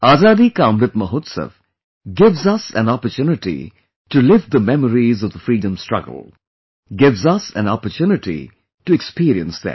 Azadi Ka Amrit Mahotsav gives us an opportunity to live the memories of the freedom struggle; gives us an opportunity to experience them